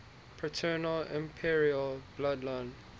paternal imperial bloodline